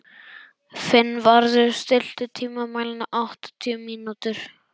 Finnvarður, stilltu tímamælinn á áttatíu mínútur.